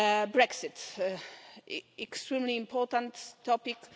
Brexit an extremely important topic.